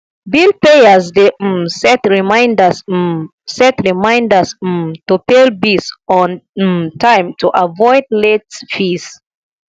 bill payers dey um set reminders um set reminders um to pay bills on um time to avoid late fees